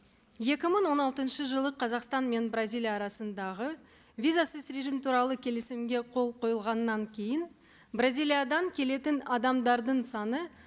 екі мың он алтыншы жылы қазақстан мен бразилия арасындағы визасыз режим туралы келісімге қол қойылғаннан кейін бразилиядан келетін адамдардың саны